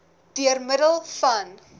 deur middel van